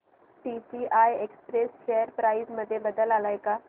TCI express share price मध्ये बदल आलाय का